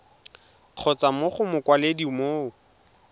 kgotsa mo go mokwaledi mo